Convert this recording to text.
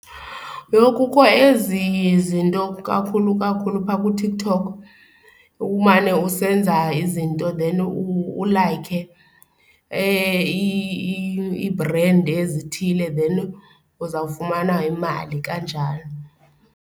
Yho, kukho ezi zinto kakhulu kakhulu phaa kuTikTok umane usenza izinto then ulayikhe iibhrendi ezithile then uzawufumana imali kanjalo.